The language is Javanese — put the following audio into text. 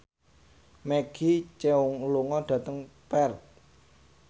Maggie Cheung lunga dhateng Perth